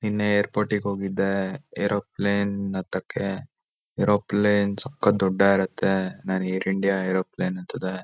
ನಿನ್ನೆ ಏರ್ ಪೋಟಿಗ್ ಹೋಗಿದ್ದೆ ಏರೋಪ್ಲೇನ್ ಹತ್ತಕ್ಕೆ ಏರೋಪ್ಲೇನ್ ಸಕತ್ತ್ ದೊಡ್ಡ ಇರತ್ತೆ ನಾನ್ ಏರ್ ಇಂಡಿಯಾ ಏರೋಪ್ಲೇನ್ ಹತ್ತದೆ--